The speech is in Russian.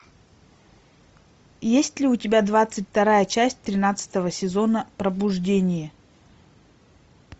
есть ли у тебя двадцать вторая часть тринадцатого сезона пробуждение